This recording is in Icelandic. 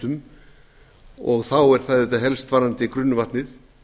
umhverfisskemmdum og þá er það auðvitað helst varðandi grunnvatnið